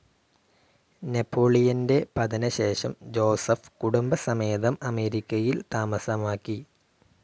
നെപോളിയന്റെ പതനശേഷം ജോസെഫ് കുടുംബസമേതം അമേരിക്കയിൽ താമസമാക്കി.